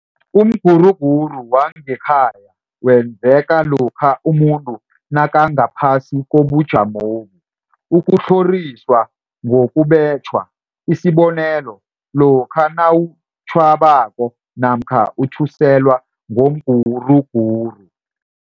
Umguruguru wangekhaya wenzeka lokha umuntu nakangaphasi kobujamobu. Ukutlhoriswa ngokubetjhwa, Isibonelo, lokha nawub tjhwako namkha uthuselwa ngomguruguru.